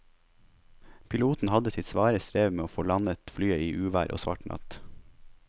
Piloten hadde sitt svare strev med å få landet flyet i uvær og svart natt.